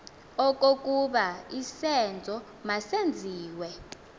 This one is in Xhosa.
okokuba isenzo masenziwe